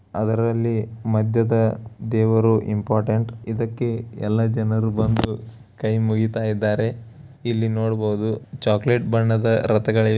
ಅದರಲ್ಲಿ ಮಧ್ಯದ ದೇವರು ಇಂಪಾರ್ಟೆಂಟ್ ಇದಕ್ಕೆ ಎಲ್ಲ ಜನರು ಬಂದು ಕೈಮುಗಿತಾ ಇದ್ದಾರೆ ಇಲ್ಲಿ ನೋಡಬಹುದು ಚಾಕ್ಲೆಟ್ ಬಣ್ಣದ ರಥಗಳಿವೆ --